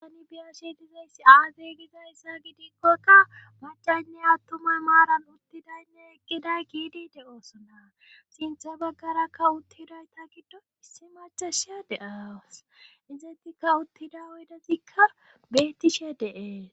tani biyashe dizayssi azey gizayssa gidikkoykka macaynne attuma maaran uttidaynne eqqiday giidide oosonna sintha baggarakka uttidayta giddo issi machashia de7awus izetikka uttida oydazikka bettishe deee